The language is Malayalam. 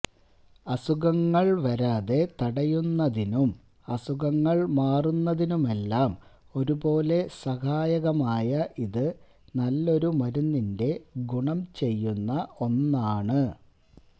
അസുഖങ്ങള് വരാതെ തടയുന്നതിനും അസുഖങ്ങള് മാറുന്നതിനുമെല്ലാം ഒരുപോലെ സഹായകമായ ഇത് നല്ലൊരു മരുന്നിന്റെ ഗുണം ചെയ്യുന്ന ഒന്നാണ്